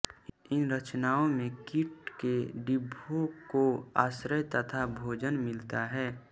इन रचनाओं में कीट के डिंभों को आश्रय तथा भोजन मिलता है